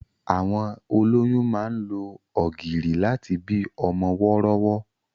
Àwọn olóyún máa ń lo ọ̀gìrì láti bí ọmọ wọ́rọ́wọ́.